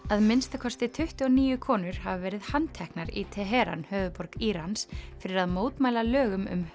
að minnsta kosti tuttugu og níu konur hafa verið handteknar í Teheran höfuðborg Írans fyrir að mótmæla lögum um